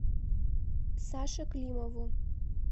саше климову